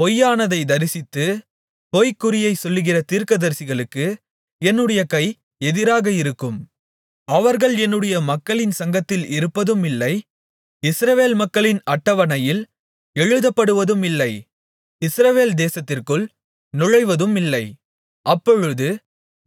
பொய்யானதைத் தரிசித்து பொய்க்குறியைச் சொல்லுகிற தீர்க்கதரிசிகளுக்கு என்னுடைய கை எதிராக இருக்கும் அவர்கள் என்னுடைய மக்களின் சங்கத்தில் இருப்பதுமில்லை இஸ்ரவேல் மக்களின் அட்டவணையில் எழுதப்படுவதுமில்லை இஸ்ரவேல் தேசத்திற்குள் நுழைவதுமில்லை அப்பொழுது